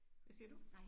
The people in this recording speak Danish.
Hvad isger du?